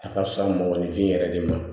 A ka fisa mɔnifin yɛrɛ de ma